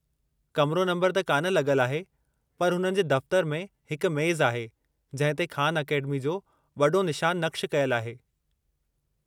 कमरो नंबर त कान लग॒लु आहे पर हुननि जे दफ़्तरु में हिकु मेज़ु आहे जंहिं ते ख़ान अकेडमी जो वॾो निशानु नक़्शु कयलु आहे।